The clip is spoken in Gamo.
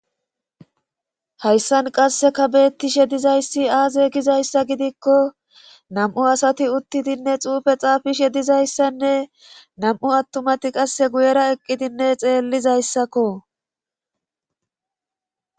Hayssan qasseka beettishe dizayssi aaze gizayssa gidikko nam'u asati uttidinne xuufe xaafishe dizayssanne nam'u attumati qasse guyera eqqidinne xeellizayssakko.